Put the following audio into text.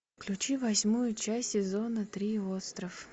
включи восьмую часть сезона три остров